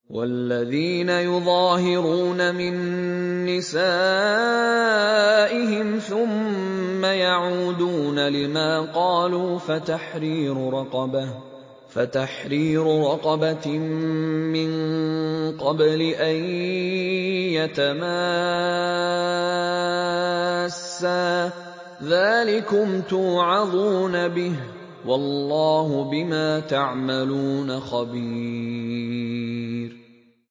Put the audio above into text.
وَالَّذِينَ يُظَاهِرُونَ مِن نِّسَائِهِمْ ثُمَّ يَعُودُونَ لِمَا قَالُوا فَتَحْرِيرُ رَقَبَةٍ مِّن قَبْلِ أَن يَتَمَاسَّا ۚ ذَٰلِكُمْ تُوعَظُونَ بِهِ ۚ وَاللَّهُ بِمَا تَعْمَلُونَ خَبِيرٌ